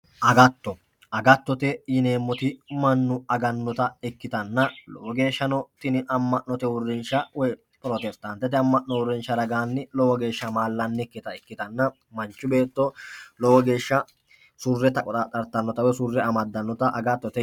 agatto, agattote yineemmoti mannu agannota ikkitanna lowo geeshshano amma'note uurrinsha pirotesitaantete amma'no uurrinsha ragaanni lowo geeshsha amma'lannikkita ikkitanna manchu beetto lowo geeshsha surre taqqoxaaxxartanno woy surre amaddannota agattote.